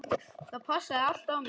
Það passaði allt á mig.